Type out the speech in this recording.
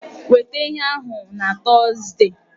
Weta ihe ahụ na Tọzdee!